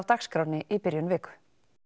dagskránni í byrjun viku